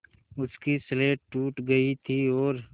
उसकी स्लेट टूट गई थी और